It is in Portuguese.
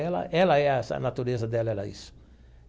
Ela, ela é essa a natureza dela, ela é isso.